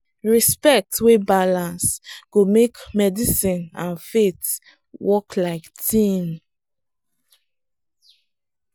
respect wey balance go make medicine and faith work like team.